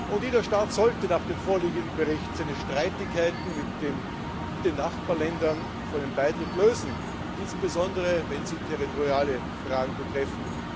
Und jeder Staat sollte nach dem vorliegenden Bericht seine Streitigkeiten mit den Nachbarländern vor einem Beitritt lösen, insbesondere wenn sie territoriale Fragen betreffen.